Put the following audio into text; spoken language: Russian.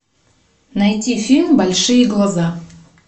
найти фильм большие глаза